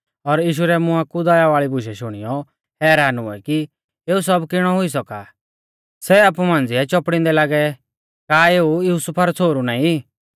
ज़ो भी लोग तिऐ मौज़ूद थै सै सारै खुश हुऐ और यीशु रै मुआं कु दया वाल़ी बूशै शुणियौ हैरान हुऐ कि एऊ सब किणौ हुई सौका सै आपु मांझ़िऐ चौपड़ींदै लागै का एऊ युसुफा रौ छ़ोहरु नाईं